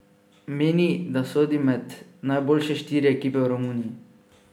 Meni, da sodi med najboljše štiri ekipe v Romuniji.